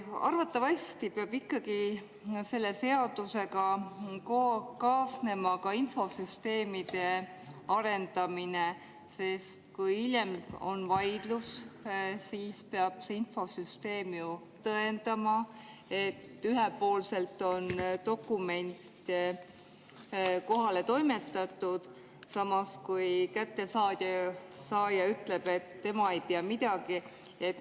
Arvatavasti peab ikkagi selle seadusega kaasnema infosüsteemide arendamine, sest kui hiljem on vaidlus, siis peab see infosüsteem ju tõendama, et ühepoolselt on dokument kohale toimetatud, samas kui saaja ütleb, et tema ei tea midagi.